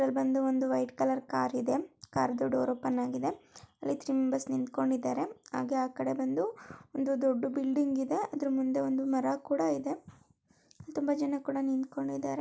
ಇದರಲ್ಲಿ ಬಂದು ಒಂದು ವೈಟ್ ಕಲರ್ ಕಾರ್ ಇದೆ ಕಾರ್ದು ಡೋರ್ ಓಪನ್ ಆಗಿದೆ. ಅಲ್ಲಿ ತ್ರೀ ಮೆಂಬರ್ಸ್ ನಿಂತ್ಕೊಂಡಿದ್ದಾರೆ ಹಾಗೆ ಆ ಕಡೆ ಬಂದು ಒಂದು ದೊಡ್ಡ ಬಿಲ್ಡಿಂಗ್ ಇದೆ. ಅದರ ಮುಂದೆ ಒಂದು ಮರ ಕೂಡ ಇದೆ ತುಂಬಾ ಜನ ಕೂಡ ನಿಂತ್ಕೊಂಡಿದ್ದಾರೆ.